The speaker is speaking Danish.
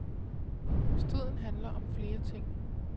Striden handler om flere ting.